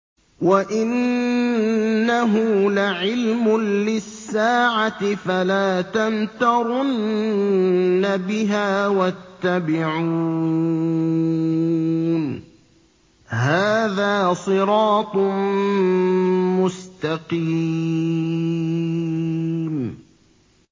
وَإِنَّهُ لَعِلْمٌ لِّلسَّاعَةِ فَلَا تَمْتَرُنَّ بِهَا وَاتَّبِعُونِ ۚ هَٰذَا صِرَاطٌ مُّسْتَقِيمٌ